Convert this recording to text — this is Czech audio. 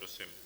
Prosím.